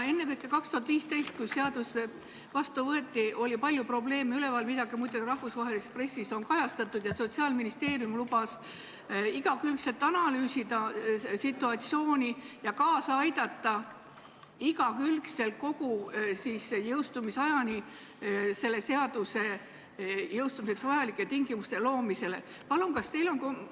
Ennekõike 2015, kui seadus vastu võeti, oli üleval palju probleeme, mida kajastati ka rahvusvahelises pressis, ning Sotsiaalministeerium lubas situatsiooni igakülgselt analüüsida ja seaduse jõustumiseks vajalike tingimuste loomisele igakülgselt kaasa aidata.